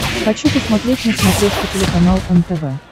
хочу посмотреть на смотрешке телеканал нтв